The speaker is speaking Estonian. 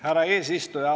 Härra eesistuja!